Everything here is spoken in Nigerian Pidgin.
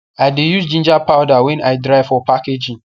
i de use ginger powder wey i dry for packaging